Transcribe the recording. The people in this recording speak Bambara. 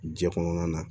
Jɛ kɔnɔna na